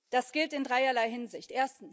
Das gilt in dreierlei Hinsicht.